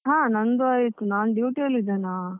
ಹ ನಂದು ಆಯ್ತು, ನಾನ್ duty ಅಲ್ಲಿ ಇದ್ದೇನಾ.